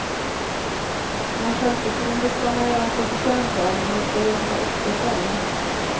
Men självförtroende ska man göra sig förtjänt av, man ska jobba upp det själv.